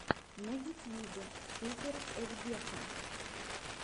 на ютьюбе супер евгеха